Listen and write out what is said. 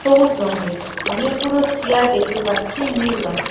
সবুজ লঙের অনেকগুলো চেয়ার দেখতে পাচ্ছি নীল রঙের।